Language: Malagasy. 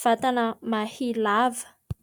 vatana mahia lava.